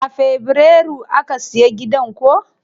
A fabrairu aka siya gidan ko?